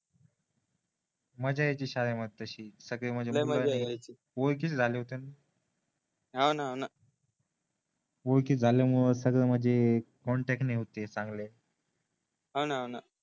मज्जा यायची शाळेमध्ये सगळं म्हणजे लय मजा यायची सगळे ओळखीचे झाले होते न हो न हो न ओळखीचे झाल्यामुळे सगळ म्हणजे कॉन्टॅक्ट ने होते चांगले हो न हो ना